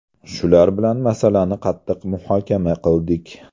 Shular bilan masalani qattiq muhokama qildik.